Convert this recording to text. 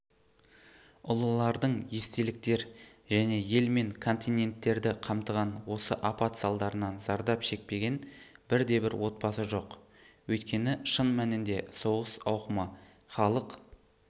ұлылардың естеліктер және ел мен континенттерді қамтыған осы апат салдарынан зардап шекпеген бірде-бір отбасы жоқ өйткені шын мәнінде соғыс ауқымы халық